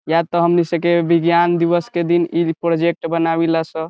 या त हमनी से के विज्ञान दिवस के दिन इ प्रोजेक्ट बनावीला स --